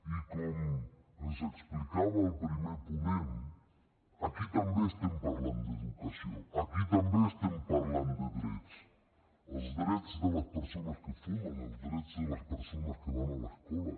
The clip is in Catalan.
i com ens explicava el primer ponent aquí també estem parlant d’educació aquí també estem parlant de drets els drets de les persones que fumen els drets de les persones que van a l’escola